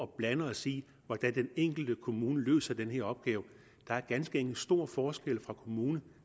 blande os i hvordan den enkelte kommune løser den her opgave der er ganske enkelt stor forskel fra kommune